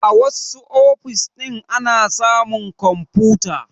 A wassu ofis ɗin ana samun kwamfuta